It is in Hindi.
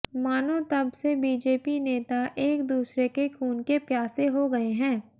मानों तब से बीजेपी नेता एक दूसरे के खून के प्यासे हो गए हैं